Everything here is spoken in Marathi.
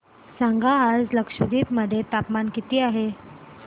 सांगा आज लक्षद्वीप मध्ये तापमान किती आहे